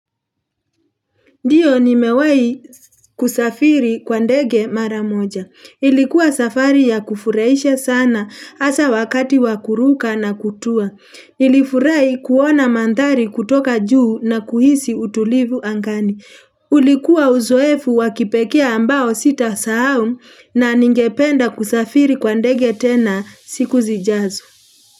Ndiyo ni mewai kusafiri kwa ndege maramoja. Ilikuwa safari ya kufuraisha sana hasa wakati wa kuruka na kutua. Nilifurai kuona mandhari kutoka juu na kuhisi utulivu angani. Ulikuwa uzoefu wa kipekee ambao sitasahau na ningependa kusafiri kwa ndege tena siku zijazo.